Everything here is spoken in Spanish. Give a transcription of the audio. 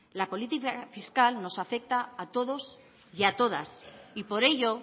la política fiscal nos afecta a todos y a todas y por ello